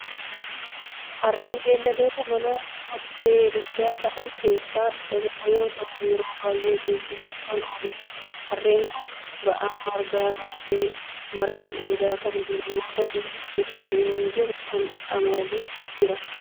Harreen beelladoota manaa kotte duudaa ta'aan keessaa isaa tokko yoo ta'u yeroo baayyee geejjibaaf kan ooludha. Harreen kun ba'aa margaa baatee marga dheedhaa kan jiru yoo ta'u iddoo inni jiru kana qamadiin jira.